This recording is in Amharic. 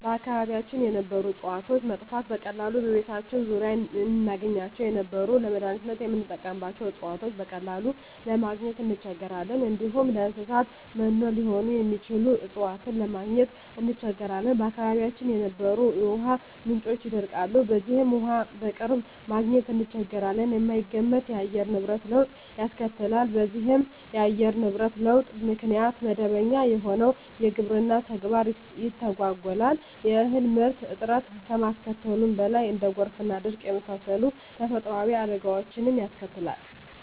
በአካባቢያችን የነበሩ እጽዋቶች መጥፋት፤ በቀላሉ በቤታችን ዙሪያ እናገኛቸው የነበሩ ለመዳኒትነት ምንጠቀምባቸው እጽዋቶችን በቀላሉ ለማግኝ እንቸገራለን፣ እንዲሁም ለእንሰሳት መኖ ሊሆኑ የሚችሉ እጽዋትን ለማግኘት እንቸገራለን፣ በአካባቢያችን የነበሩ የውሃ ምንጮች ይደርቃሉ በዚህም ውሃ በቅርብ ማግኘት እንቸገራለን፣ የማይገመት የአየር ንብረት ለውጥ ያስከትላል በዚህም ኢተገማች የአየር ንብረት ለውጥ ምክንያት መደበኛ የሆነው የግብርና ተግባር ይተጓጎላል የእህል ምርት እጥረት ከማስከተሉም በላይ እንደ ጎርፍና ድርቅ የመሳሰሉ ተፈጥሮአዊ አደጋወችንም ያስከትላል።